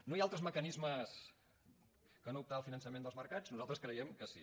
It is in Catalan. no hi ha altres mecanismes que no optar al finançament dels mercats nosaltres creiem que sí